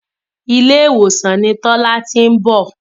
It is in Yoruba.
Ilé ìwòsàn ni Tọ́lá ti ń bọ̀.